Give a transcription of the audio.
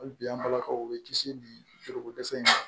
Hali bi an balakaw bɛ kisi biroko dɛsɛ in ma